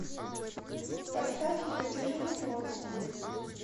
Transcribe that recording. поставь екатерину бродскую